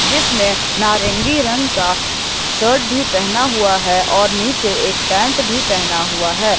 जिसने नारंगी रंग का शर्ट भी पहना हुआ है और नीचे एक पैंट भी पहना हुआ है।